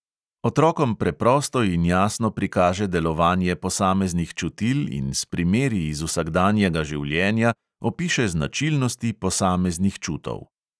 Otrokom preprosto in jasno prikaže delovanje posameznih čutil in s primeri iz vsakdanjega življenja opiše značilnosti posameznih čutov.